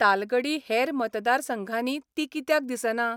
तालगडी हेर मतदारसंघांनी ती कित्याक दिसना?